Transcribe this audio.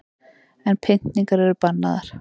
En pyntingar eru bannaðar